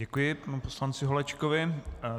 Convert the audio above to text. Děkuji panu poslanci Holečkovi.